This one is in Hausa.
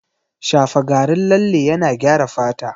Shafa garin lalle yana gyara fata